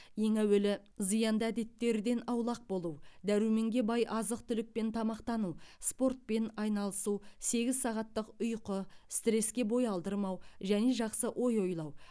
ең әуелі зиянды әдеттерден аулақ болу дәруменге бай азық түлікпен тамақтану спортпен айналысу сегіз сағаттық ұиқы стреске бои алдырмау және жақсы ои оилау